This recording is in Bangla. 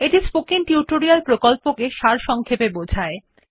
এটি স্পোকেন টিউটোরিয়াল প্রকল্পটি সারসংক্ষেপে বোঝায়